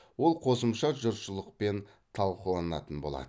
ол қосымша жұртшылықпен талқыланатын болады